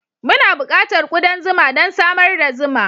Muna buƙatar kudan zuma don samar da zuma.